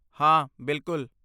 ਹਾਂ, ਬਿਲਕੁਲ!